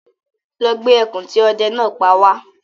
Lọ gbé ẹkùn tí ọdẹ náà pa wá